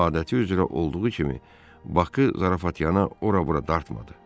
O adəti üzrə olduğu kimi Bakı zarafat yana ora-bura dartmadı.